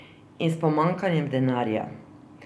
In s pomanjkanjem denarja.